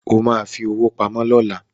O ma fi owó pamọ́ lọ́la